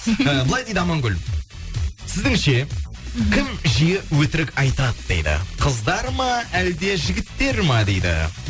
і былай дейді амангүл сіздің ше кім жиі өтірік айтады дейді қыздар ма әлде жігіттер ма дейді